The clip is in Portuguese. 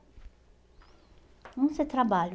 onde você trabalha?